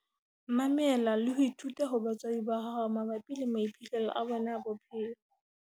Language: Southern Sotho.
Mamela le ho ithuta ho batswadi ba hao mabapi le maiphihlelo a bona a bophelo.